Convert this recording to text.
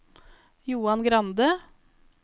Johan Grande